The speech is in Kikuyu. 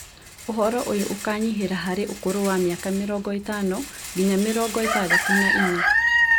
Ũhoro ũyũ ũkanyihĩra harĩ ũkũrũ wa mĩaka mĩrongo ĩtano nginya mĩrongo ĩtandatũ na inya